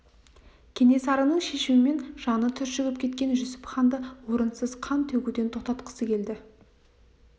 кенесарының шешімінен жаны түршігіп кеткен жүсіп ханды орынсыз қан төгуден тоқтатқысы келді